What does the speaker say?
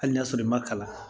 Hali n'a sɔrɔ i ma kalan